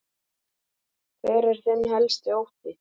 Hver er þinn helsti ótti?